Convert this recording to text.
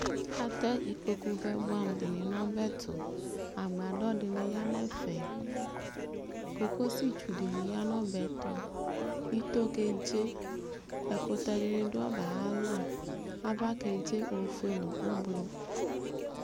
atɛ ikpoku vɛ boɛ amo di ni n'ɔbɛto agbadɔ di ni ya n'ɛfɛ kokosi tsu di ni ya n'ɔbɛto ito kedze ɛkutɛ di ni do ɔbɛ ayalɔ ava kedze ofue no ublɔ